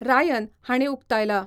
Ryan हाणीं उक्तायला.